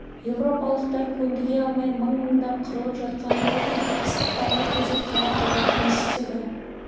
европалықтар көндіге алмай мың-мыңдап қырылып жатқан тропиктік ыстықтарға төзіп қара құлдар жұмыс істеді